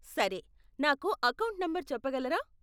సరే, నాకు account number చెప్పగలరా?